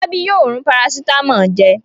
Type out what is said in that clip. Fọlábí yóò rún parasítámọ̀ jẹ.